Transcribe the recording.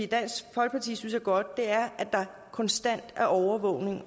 dansk folkeparti synes er godt er at der konstant er overvågning